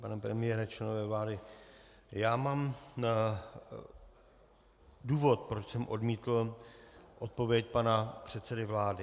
Pane premiére, členové vlády, já mám důvod, proč jsem odmítl odpověď pana předsedy vlády.